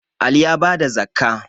Ali ya bada zakkah